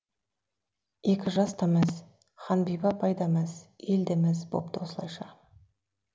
екі жас та мәз ханбибі апай да мәз ел де мәз бопты осылайша